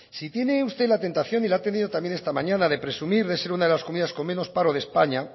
si tiene usted la tentación y la ha tenido también esta mañana de presumir de ser una de las comunidades con menos paro de españa